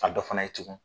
A dɔ fana ye tugun